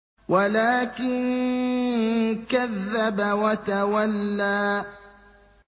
وَلَٰكِن كَذَّبَ وَتَوَلَّىٰ